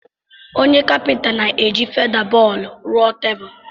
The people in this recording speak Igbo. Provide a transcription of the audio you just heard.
onye Kapịnta na-eji feda-bọọdụ rụọ tebụl